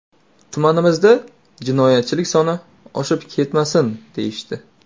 Tumanimizda jinoyatchilik soni oshib ketmasin”, deyishdi.